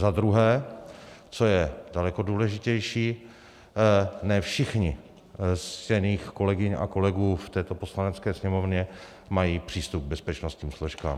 Za druhé, co je daleko důležitější: ne všichni z ctěných kolegyň a kolegů v této Poslanecké sněmovně mají přístup k bezpečnostním složkám.